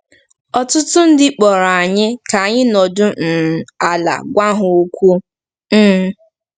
Ọtụtụ ndị kpọrọ anyị ka anyị nọdụ um ala gwa ha okwu um.